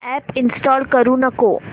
app install करू नको